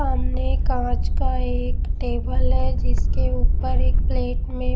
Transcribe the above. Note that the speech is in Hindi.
सामने कांच का एक टेबल है जिसके ऊपर एक प्लेट में--